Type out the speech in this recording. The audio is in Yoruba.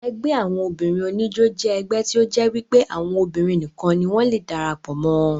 Ẹgbẹ́ àwọn obìnrin oníjó jẹ́ ẹgbẹ́ tí ó jẹ́ wípé àwọn obìnrin nìkan ni wọ́n le darapọ̀ mọ́ ọn